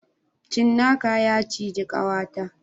Cinnaka ya ciji kawata